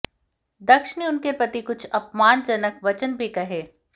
दक्ष ने उनके प्रति कुछ अपमानजनक वचन भी कहे